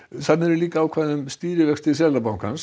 þarna eru ákvæði um stýrivexti Seðlabankans